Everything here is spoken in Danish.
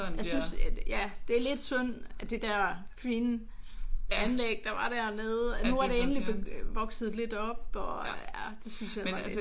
Jeg synes ja det er lidt synd at det der fine anlæg der var dernede at nu er det endelig vokset lidt op og ja det synes jeg var lidt